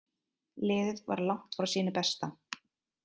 Liðið var langt frá sínu besta.